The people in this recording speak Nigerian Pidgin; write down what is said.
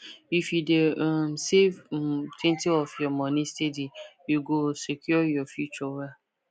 if you dey um save [um]twentyof your money steady you go secure your future well